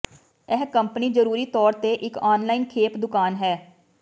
ਇਹ ਕੰਪਨੀ ਜਰੂਰੀ ਤੌਰ ਤੇ ਇੱਕ ਔਨਲਾਈਨ ਖੇਪ ਦੁਕਾਨ ਹੈ